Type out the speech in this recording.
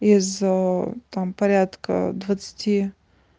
из там порядка двадцати